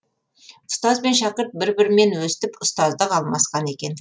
ұстаз бен шәкірт бір бірімен өстіп ұстаздық алмасқан екен